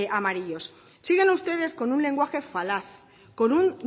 amarillos siguen ustedes con un lenguaje falaz con un